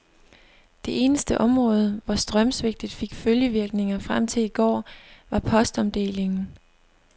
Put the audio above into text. Det eneste område, hvor strømsvigtet fik følgevirkninger frem til i går, var postomdelingen.